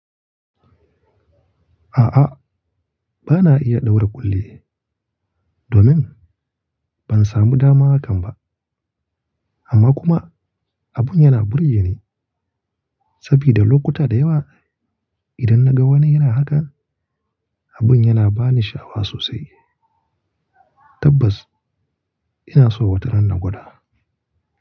A'a, bana iya ɗaura ƙulli, domin ban samu dama hakan ba. Amma kuma abun yana burge ni saboda lokuta da yawa idan naga wani yana haka abun yana bani sha'awa sosai. Tabbas ina so wataran na gwada.